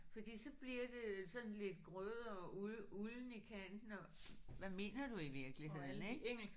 Fordi så bliver det sådan lidt grødet og ulden i kanten og hvad mener du i virkeligheden ik